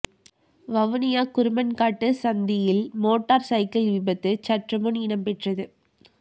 வவுனியா குருமன்காட்டு சந்தியில் motorcycle விபத்து சற்று முன் இடம்பெற்றது